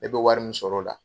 E be wari min sɔrɔ o la